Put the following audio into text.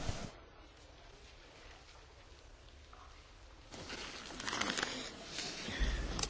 Kolejnym punktem porządku dziennego jest oświadczenie Wiceprzewodniczącej Komisji Wysokiej Przedstawiciel UE